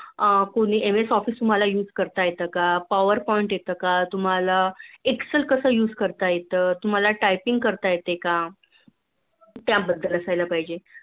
अह MS office use power point येते का Excell use कस करता येत तुम्हाला Typing करता येते का? त्या बद्द्दल असायला पाहिजे